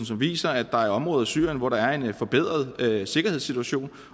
som viser at der er områder i syrien hvor der er en forbedret sikkerhedssituation